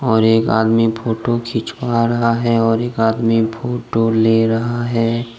और एक आदमी फोटो खिंचवा रहा है और एक आदमी फोटो ले रहा है।